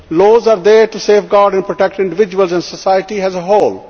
Laws are there to safeguard and protect individuals in society as a whole.